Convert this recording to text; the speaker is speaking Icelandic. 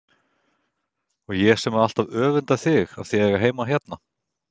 Og ég sem hef alltaf öfundað þig af að eiga heima hérna!